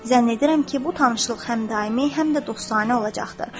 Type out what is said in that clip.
Zənn edirəm ki, bu tanışlıq həm daimi, həm də dostanə olacaqdır.